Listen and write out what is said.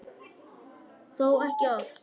Þó ekki oft.